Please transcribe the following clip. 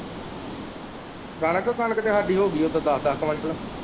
ਕਣਕ ਕਣਕ ਤੇ ਸਾਡੀ ਹੋ ਗਈ ਹੈ ਕੋਈ ਦੱਸ ਦੱਸ ਕੁਆੰਟਲ।